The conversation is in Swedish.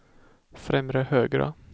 främre högra